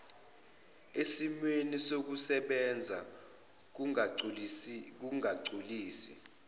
esimweni sokusebenza ngokungagculisi